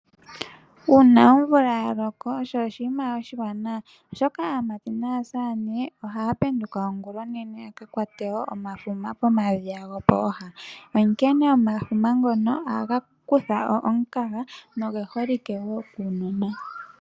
Uuna omvula yaloko osho oshiima oshiwanawa oshoka aamati naasaane ohaya penduka ongulonene yaka kwate omafuma pomadhiya gopooha, onkene omafuma ngono ohaga kutha po omukaga noge holike woo kuunona.